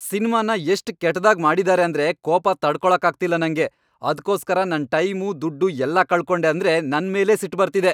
ಸಿನ್ಮಾನ ಎಷ್ಟ್ ಕೆಟ್ದಾಗ್ ಮಾಡಿದಾರೆ ಅಂದ್ರೆ ಕೋಪ ತಡ್ಕೊಳಕ್ಕಾಗ್ತಿಲ್ಲ ನಂಗೆ. ಅದ್ಕೋಸ್ಕರ ನನ್ ಟೈಮು, ದುಡ್ಡು ಎಲ್ಲ ಕಳ್ಕೊಂಡೆ ಅಂದ್ರೆ ನನ್ಮೇಲೇ ಸಿಟ್ಟ್ ಬರ್ತಿದೆ.